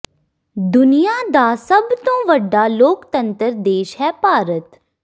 ਦੁਨੀਆ ਦਾ ਸਭ ਤੋਂ ਵੱਡਾ ਲੋਕਤੰਤਰ ਦੇਸ਼ ਹੈ ਭਾਰਤ